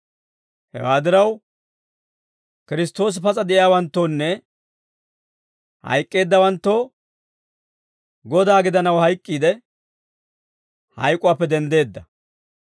Hewaa diraw, Kiristtoosi pas'a de'iyaawanttoonne hayk'k'eeddawanttoo Godaa gidanaw hayk'k'iide, hayk'uwaappe denddeedda.